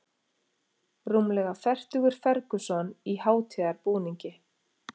Rúmlega fertugur Ferguson í hátíðarbúningi